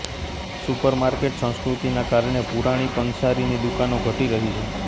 supermarket સંસ્કૃતિના કારણે પુરાણી પંસારીની દુકાનો ઘટી રહી છે